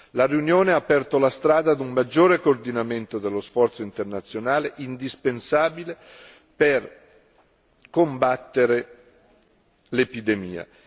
La riunione ha aperto la strada ad un maggiore coordinamento dello sforzo internazionale indispensabile per combattere l'epidemia.